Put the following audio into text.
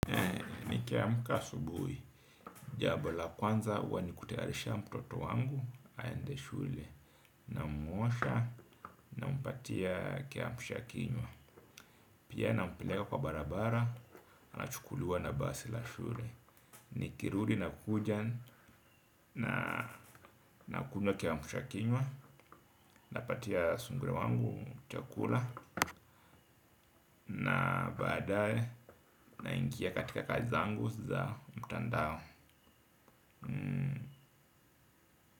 Nikiamka subui jabo la kwanza huwa ni kutayarisha mtoto wangu aende shule. Namuosha nampatia kiamsha kinywa. Pia na mpeleka kwa barabara anachukuliua na basi la shule. Nikirudi nakuja nakunywa kiamsha kinywa. Napatia sungura wangu chakula. Na baadae naingia katika kazi zangu za mtandao. Hmm.